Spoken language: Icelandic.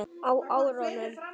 Á árunum